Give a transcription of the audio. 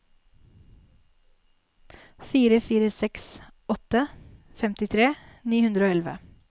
fire fire seks åtte femtitre ni hundre og elleve